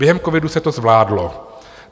Během covidu se to zvládlo.